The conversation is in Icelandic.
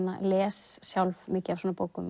les sjálf mikið af svona bókum